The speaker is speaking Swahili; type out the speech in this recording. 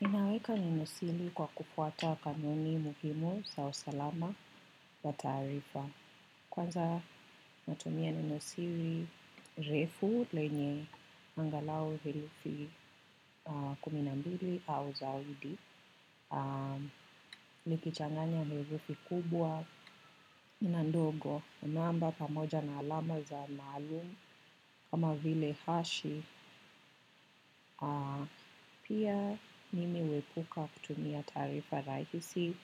Ninaweka neno siri kwa kufuata kanuni muhimu za usalama ya taarifa. Kwanza natumia neno siri refu lenye angalau herufi kumi na mbili au zaidi. Liki changanya herufi kubwa. Na ndogo namba pamoja na alama za maalum kama vile hashi. Pia nimi huepuka kutumia taarifa rahisi